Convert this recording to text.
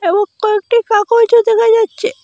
এবং কয়েকটি কাগজও দেখা যাচ্ছে।